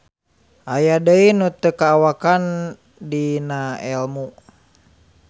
Aya deui nu teu kaawakan dinaelmu.